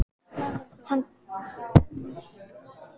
Hún hló að honum og sneri sér burt.